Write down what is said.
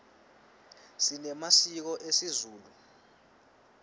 sinemasiko esizulu